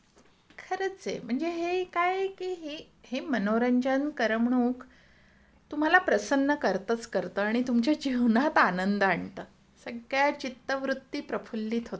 खरच आहे म्हणजे हे काय आहे कि हे मनोरंजन करमणूक तुम्हाला प्रसन्न करतच करतं आणि तुमच्या जीवनात आनंद आणत. सगळ्या चित्तवृत्ती प्रफुल्लित होतात आपल्या. आहे ना?